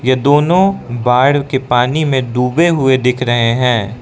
ये दोनों बाढ़ के पानी में डूबे हुए दिख रहे हैं।